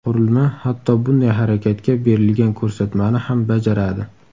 Qurilma hatto bunday harakatga berilgan ko‘rsatmani ham bajaradi.